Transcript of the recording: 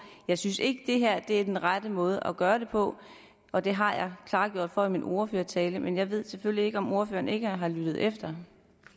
jeg synes ikke det her er den rette måde at gøre det på og det har jeg klargjort for i min ordførertale men jeg ved selvfølgelig ikke om ordføreren ikke har lyttet efter